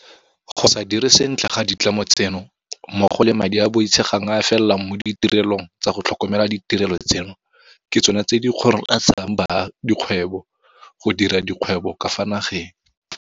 Go se dire sentle ga ditlamo tseno mmogo le madi a a boitshegang a a felelang mo ditirelong tsa go tlhokomela ditirelo tseno ke tsona tse di kgoreletsang dikgwebo go dira dikgwebo ka fa nageng.